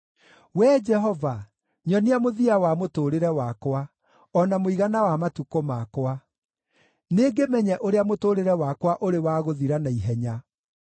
“Wee Jehova, nyonia mũthia wa mũtũũrĩre wakwa, o na mũigana wa matukũ makwa; nĩngĩmenye ũrĩa mũtũũrĩre wakwa ũrĩ wa gũthira na ihenya.